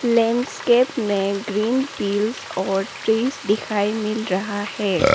Landscape में green पिल्स और ट्रिस दिखाई मिल रहा है।